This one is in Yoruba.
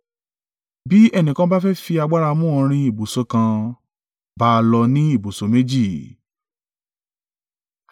Bí ẹni kan bá fẹ́ fi agbára mú ọ rìn ibùsọ̀ kan, bá a lọ ní ibùsọ̀ méjì.